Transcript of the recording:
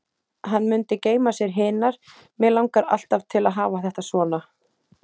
Hann mundi geyma sér hinar: Mig langar alltaf til að hafa þetta svona.